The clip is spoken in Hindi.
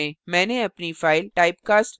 terminal खोलें